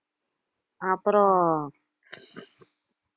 அப்புறம்